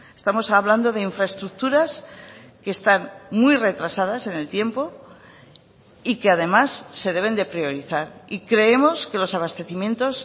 estamos hablando de infraestructuras que están muy retrasadas en el tiempo y que además se deben de priorizar y creemos que los abastecimientos